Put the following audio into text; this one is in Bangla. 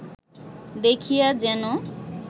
দেখিয়া যেন